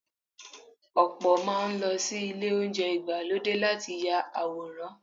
Ọ̀pọ̀ máa ń lọ sí ilé oúnjẹ ìgbàlódé láti ya àwòrán.